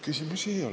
Küsimusi ei ole.